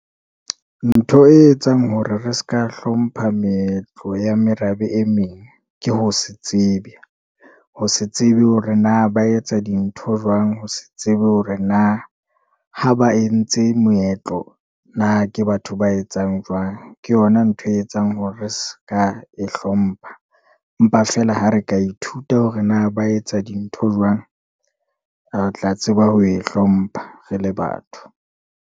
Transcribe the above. Ntho e etsang hore re s'ka hlompha meetlo ya merabe e meng ke ho se tsebe. Ho se tsebe hore na ba etsa dintho jwang? Ho se tsebe hore na ha ba entse moetlo na ke batho ba etsang jwang? Ke yona ntho e etsang hore re s'ka e hlompha. Empa feela ha re ka ithuta hore na ba etsa dintho jwang? Re tla tseba ho e hlompha re le batho.